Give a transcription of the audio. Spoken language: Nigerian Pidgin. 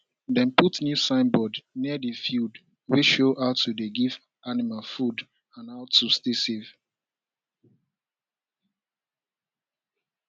dem put new signboard near the field wey show how to dey give animal food and how to stay safe